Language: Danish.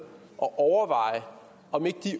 og overveje om de